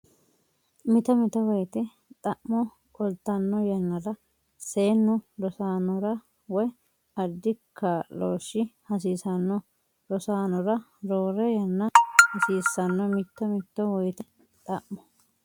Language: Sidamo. Mito mito woyite xa mo qoltanno yannara seennu rosaanora woy addi kaa looshi hasiisanno rosaanora roore yanna hasiissanno Mito mito woyite xa mo.